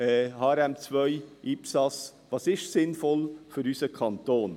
HRM2/ IPSAS – was ist sinnvoll für unseren Kanton?